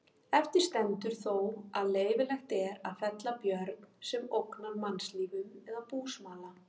Eftir stendur þó að leyfilegt er að fella björn sem ógnar mannslífum eða búsmala.